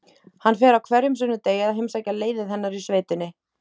Hann fer á hverjum sunnudegi að heimsækja leiðið hennar í sveitinni.